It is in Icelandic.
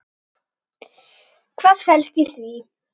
Hvað felst í því?